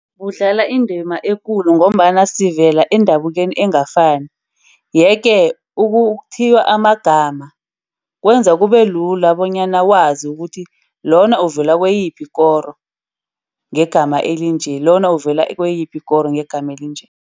Budlala indima ekulu ngombana sivela endabukenu engakafani. Yeke ukuthiywa amagama kwenza kubelula bonyana wazi ukuthi lona uvela kuyiphi ikoro ngegama elinje. Lona uvela kuyiphi ikoro ngegama elinje.